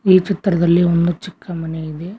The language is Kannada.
ಈ ಚಿತ್ರದಲ್ಲಿ ಒಂದು ಚಿಕ್ಕ ಮನೆ ಇದೆ.